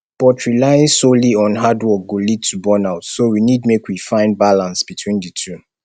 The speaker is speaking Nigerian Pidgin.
but relying solely on hard work go lead to burnout so we need make we find balance between di two